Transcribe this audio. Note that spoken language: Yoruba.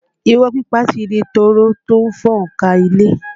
Irọ́ pípa ti di tọ́rọ́ tó ń fọ́n ká ilé